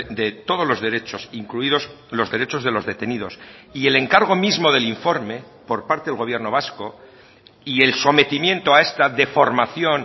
de todos los derechos incluidos los derechos de los detenidos y el encargo mismo del informe por parte del gobierno vasco y el sometimiento a esta deformación